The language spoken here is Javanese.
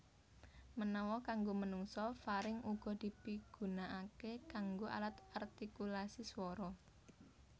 Menawa kanggo menungsa faring uga dipigunaaké kanggo alat artikulasi suwara